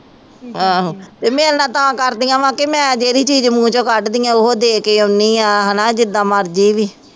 ਆਹੋ ਮੇਰੇ ਨਾਲ ਤਾਂ ਕਰਦੀਆਂ ਵਾਂ ਕਿ ਮੈਂ ਜਿਹੜੀ ਚੀਜ਼ ਮੂੰਹ ਚੋਂ ਕੱਢਦੀਆਂ, ਉਹ ਦੇ ਕੇ ਆਉਂਦੀ ਹਾਂ, ਹੈ ਨਾ ਜਿਦਾਂ ਮਰਜ਼ੀ ਵੀ